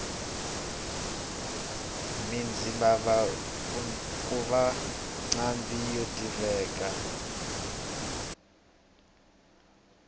mina ndzi lava kuva nqambhi yo tiveka